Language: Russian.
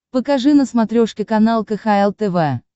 покажи на смотрешке канал кхл тв